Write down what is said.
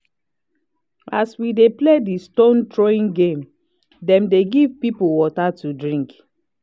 as we dey play the stone throwing game dem dey give people water to drink